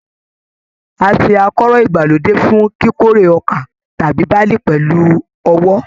A ṣe akọ́rọ́ ìgbàlódé fún kíkórè ọkà tàbí barley pẹlú ọwọ́